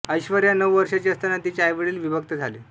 ऐश्वर्या नऊ वर्षांची असताना तिचे आईवडील विभक्त झाले